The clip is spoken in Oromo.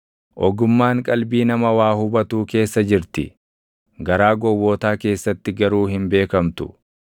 Ogummaan qalbii nama waa hubatuu keessa jirti; garaa gowwootaa keessatti garuu hin beekamtu.